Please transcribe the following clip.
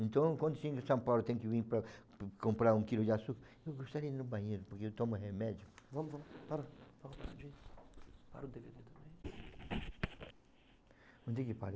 Então quando tem que vir para comprar um quilo de açúcar, eu gostaria de ir no banheiro, porque eu tomo remédio. Vamos vamos, bora, rapidinho mas não tem que parar